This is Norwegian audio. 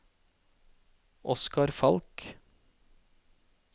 Oskar Falch